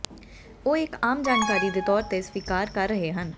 ਉਹ ਇੱਕ ਆਮ ਜਾਣਕਾਰੀ ਦੇ ਤੌਰ ਤੇ ਸਵੀਕਾਰ ਕਰ ਰਹੇ ਹਨ